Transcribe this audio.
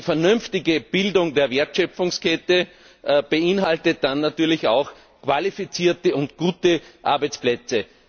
Und nur eine vernünftige Bildung der Wertschöpfungskette beinhaltet dann natürlich auch qualifizierte und gute Arbeitsplätze.